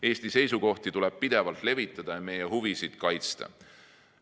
Eesti seisukohti tuleb pidevalt levitada ja meie huvisid kaitsta.